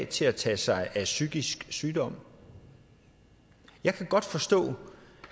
til at tage sig af psykisk sygdom jeg kan godt forstå